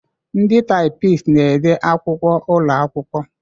Ndị taịpisti na-ede akwụkwọ ụlọ akwụkwọ.